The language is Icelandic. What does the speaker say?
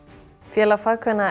félag